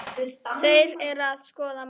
Þeir eru að skoða málið.